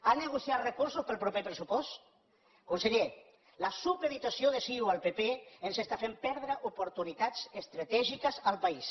han negociat recursos per al proper pressupost conseller la supeditació de ciu al pp ens està fent perdre oportunitats estratègiques al país